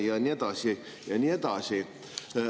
Ja nii edasi.